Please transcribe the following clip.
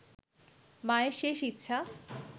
মায়ের শেষ ইচ্ছা